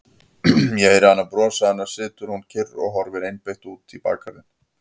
Ég heyri hana brosa, annars situr hún kyrr og horfir einbeitt út í bakgarðinn.